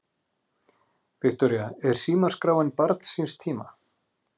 Viktoría: Er símaskráin barn síns tíma?